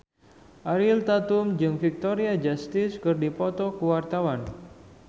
Ariel Tatum jeung Victoria Justice keur dipoto ku wartawan